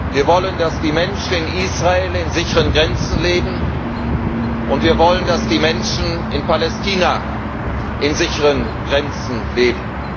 Wir wollen, dass die Menschen in Israel in sicheren Grenzen leben, und wir wollen, dass die Menschen in Palästina in sicheren Grenzen leben.